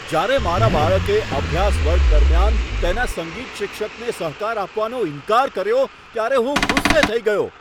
જ્યારે મારા બાળકે અભ્યાસ વર્ગ દરમિયાન તેના સંગીત શિક્ષકને સહકાર આપવાનો ઇન્કાર કર્યો, ત્યારે હું ગુસ્સે થઈ ગયો.